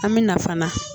An bɛ na fana